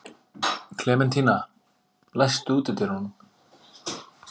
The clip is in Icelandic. Klementína, læstu útidyrunum.